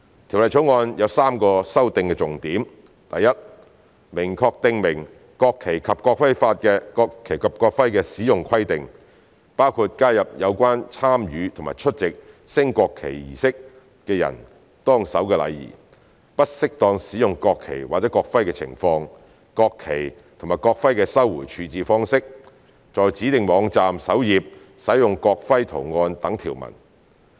《條例草案》有3個修訂重點：第一，明確訂明國旗及國徽的使用規定，包括加入有關參與及出席升國旗儀式的人當守的禮儀、不適當使用國旗或國徽的情況、國旗及國徽的收回處置方式、在指定網站首頁使用國徽圖案等條文。